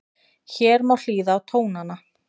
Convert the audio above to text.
Hér má hlýða á tónana